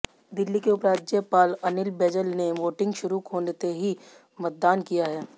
दिल्ली के उपराज्यपाल अनिल बैजल ने वोटिंग शुरू होते ही मतदान किया है